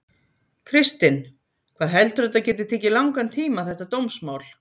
Kristinn: Hvað heldurðu að þetta geti tekið langan tíma þetta dómsmál?